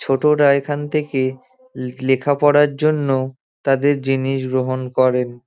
ছোটরা এখান থেকে লেখা পড়ার জন্য তাদের জিনিস গ্রহণ করেন।